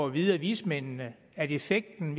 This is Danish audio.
at vide af vismændene at effekten